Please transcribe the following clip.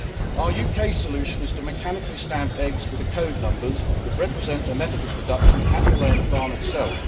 Our UK solution is to mechanically stamp eggs with the code numbers that represent their method of production at the laying farm itself.